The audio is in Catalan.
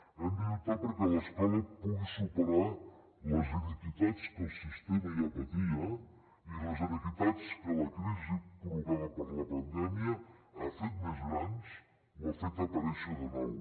hem de lluitar perquè l’escola pugui superar les inequitats que el sistema ja patia i les inequitats que la crisi provocada per la pandèmia ha fet més grans o ha fet aparèixer de nou